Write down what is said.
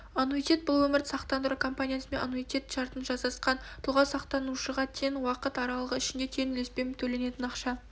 аннуитет бұл өмірді сақтандыру компаниясымен аннуитет шартын жасасқан тұлға сақтанушыға тең уақыт аралығы ішінде тең үлеспен төленетін ақша